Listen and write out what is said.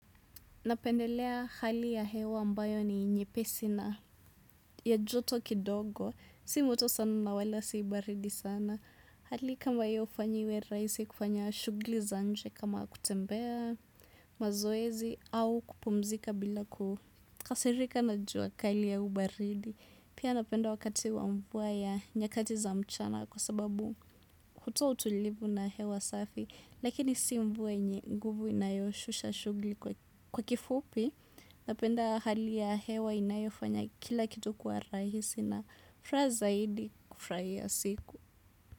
Napendelea hali ya hewa ambayo ni nyepesi na ya joto kidogo. Si moto sana na wala si baridi sana. Hali kama hio ufanyiwe rahisi kufanya shughuli za nje kama kutembea mazoezi au kupumzika bila kukasirika na jua kali au baridi. Pia napenda wakati wa mvua ya nyakati za mchana kwa sababu hutoa utulivu na hewa safi. Lakini si mvua yenye nguvu inayoshusha shughuli kwa kifupi. Napenda hali ya hewa inayofanya kila kitu kuwa rahisi na furaha zaidi kufurahia siku.